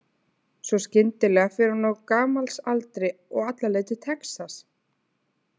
Svo skyndilega fer hún á gamals aldri og alla leið til Texas.